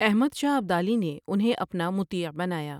احمد شاہ ابدالی نے انہیں اپنا مطیع بنایا ۔